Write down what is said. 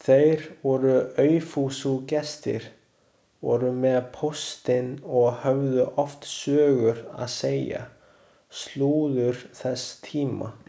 Þeir voru aufúsugestir, voru með póstinn og höfðu oft sögur að segja, slúður þess tíma.